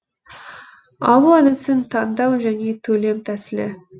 алу әдісін таңдау және төлем тәсілі